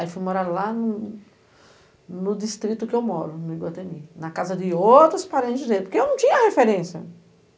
Aí fui morar lá no distrito que eu moro, no Iguateni, na casa de outros parentes dele, porque eu não tinha referência.